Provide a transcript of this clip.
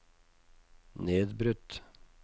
nedbrutt